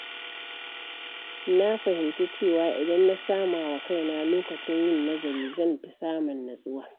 Na fahimci cewa idan na sama wa kaina lokacin yin nazari, zan fi samun natsuwa.